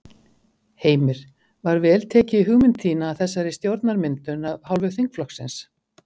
Heimir: Var vel tekið í hugmynd þína að þessari stjórnarmyndun af hálfu þingflokksins?